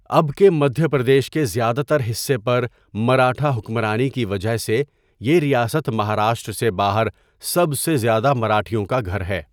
اب کے مدھیہ پردیش کے زیادہ تر حصے پر مراٹھا حکمرانی کی وجہ سے یہ ریاست مہاراشٹر سے باہر سب سے زیادہ مراٹھیوں کا گھر ہے۔